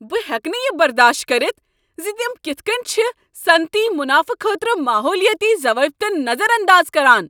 بہٕ ہیٚکہٕ نہٕ یہ برداشت کٔرتھ ز تم کتھ کٔنۍ چھ صنعتی منافہٕ خٲطرٕ ماحولیٲتی ضوابطن نظر انداز کران۔